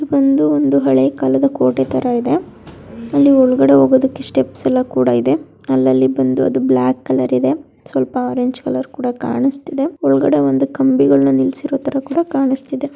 ಇದು ಬಂದು ಒಂದು ಹಳೆ ಕಾಲದ ಕೋಟೆ ತರಹ ಇದೆ ಅಲ್ಲಿ ಒಳಗಡೆ ಹೋಗೋದಕೆ ಸ್ಟೆಪ್ಸ್ ಏಲ್ಲ ಕೂಡಾ ಇದೆ ಅಲ್ಲ ಲಲಿ ಬಂದು ಅದು ಬ್ಲಾಕ್ ಕಲರ್ ಇದೆ ಸ್ವಲ್ಪಾ ಆರೆಂಜ್ ಕಲರ್ ಕೂಡಾ ಕನಿಸ್ತಿದೆ ಒಳಗಡೆ ಕಂಬಿಗಳು ನಿಲ್ಲಿಸಿರೋ ತರ ಕೂಡಾ ಕನಿಸ್ತಿದೆ.